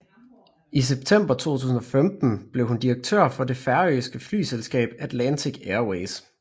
I september 2015 blev hun direktør for det færøske flyselskab Atlantic Airways